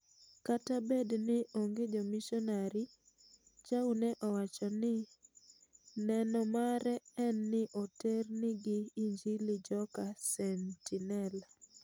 Kata Bedni onge jomishonari Chau ne owachoni neno mare en ni oternigi injili joka Sentinel.